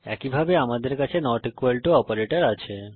একইভাবে আমাদের কাছে নট ইকুয়াল টু অপারেটর আছে